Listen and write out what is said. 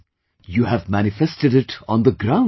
, you have manifested it on the ground